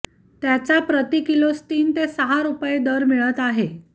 त्याच्या प्रतिकिलोस तीन ते सहा रुपये दर मिळत आहे